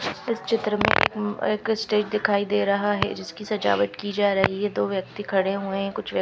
इस चित्र में एक अ एक स्टेज दिखाई दे रहा है जिसकी सझावट की जा रही है दो व्यक्ति खड़े हुए कुछ व्यक्--